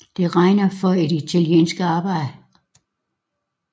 Det regnes for et italiensk arbejde